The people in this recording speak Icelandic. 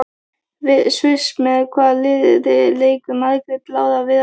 Sviss Með hvaða liði leikur Margrét Lára Viðarsdóttir?